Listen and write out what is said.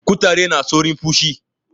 kutare na saurin pushi